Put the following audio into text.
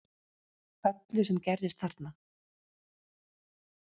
Öllu sem gerðist þarna